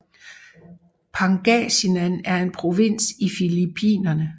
Pangasinan er en provins i Filippinerne